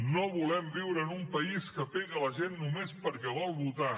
no volem viure en un país que pega la gent només perquè vol votar